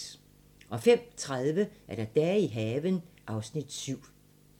05:30: Dage i haven (Afs. 7)